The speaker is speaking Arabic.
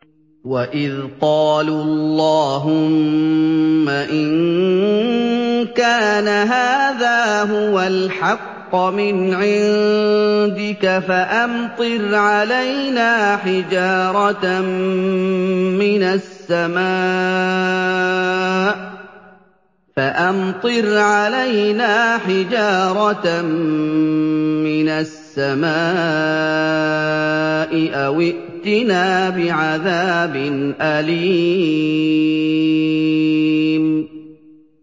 وَإِذْ قَالُوا اللَّهُمَّ إِن كَانَ هَٰذَا هُوَ الْحَقَّ مِنْ عِندِكَ فَأَمْطِرْ عَلَيْنَا حِجَارَةً مِّنَ السَّمَاءِ أَوِ ائْتِنَا بِعَذَابٍ أَلِيمٍ